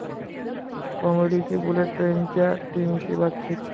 कॉमेडीची bullet ट्रेन'च्या टीमशी बातचीत